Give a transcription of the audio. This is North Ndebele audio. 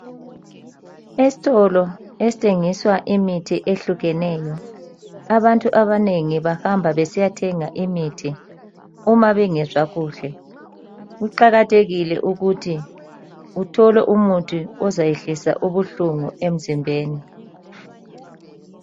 Esitolo esithengiswa imithi ehlukeneyo. Abantu abanengi bahamba besiyathenga imithi uma bengezwa kuhle. Kuqakathekile ukuthi uthole umuthi ozayehlisa ubuhlungu emzimbeni.